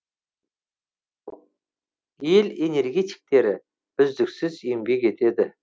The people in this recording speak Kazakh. ел энергетиктері үздіксіз еңбек етеді